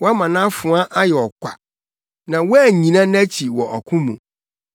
Woama nʼafoa ayɛ ɔkwa, na woannyina nʼakyi wɔ ɔko mu.